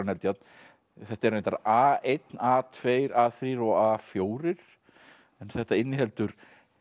Eldjárn þetta er reyndar a einum a tveimur a þrír og a fjórar en þetta inniheldur